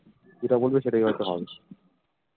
যেটা বলবে সেটাই হয়তো হবে